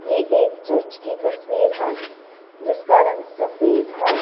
ये एक चर्च की तस्वीर है जिसका रंग सफेद है।